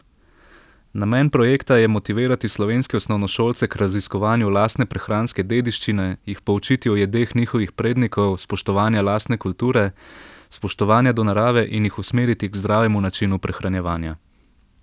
Namen projekta je motivirati slovenske osnovnošolce k raziskovanju lastne prehranske dediščine, jih poučiti o jedeh njihovih prednikov, spoštovanja lastne kulture, spoštovanja do narave in jih usmeriti k zdravemu načinu prehranjevanja.